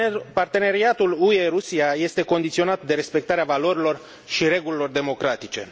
Parteneriatul UE Rusia este condiționat de respectarea valorilor și regulilor democratice.